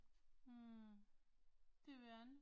Hm. Det ved jeg ikke